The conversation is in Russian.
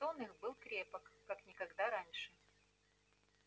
сон их был крепок как никогда раньше